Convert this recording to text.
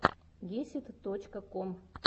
гесид точка ком